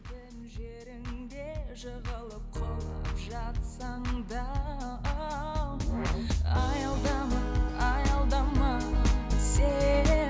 жеріңде жығылып құлап жатсаң да аялдама аялдама сен